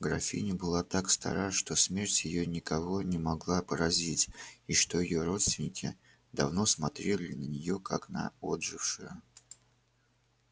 графиня была так стара что смерть её никого не могла поразить и что её родственники давно смотрели на неё как на отжившую